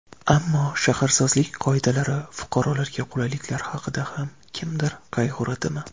Ammo shaharsozlik qoidalari, fuqarolarga qulayliklar haqida ham kimdir qayg‘uradimi?